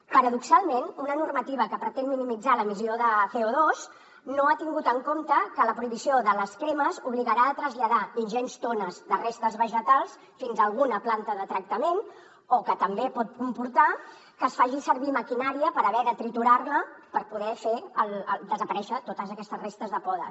paradoxalment una normativa que pretén minimitzar l’emissió de cotingut en compte que la prohibició de les cremes obligarà a traslladar ingents tones de restes vegetals fins a alguna planta de tractament o que també pot comportar que es faci servir maquinària per haver de triturar la per poder fer desaparèixer totes aquestes restes de podes